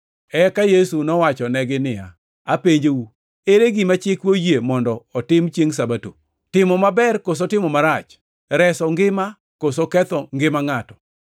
Eka Yesu nowachonegi niya, “Apenjou, ere gima chikwa oyie mondo otim chiengʼ Sabato, timo maber koso timo marach, reso ngima koso ketho ngima ngʼato?”